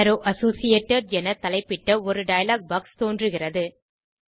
arrow associated என தலைப்பிட்ட ஒரு டயலாக் பாக்ஸ் தோன்றுகிறது